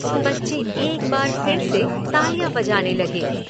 बच्चे एक बार फिर से तालियां बजाने लगे।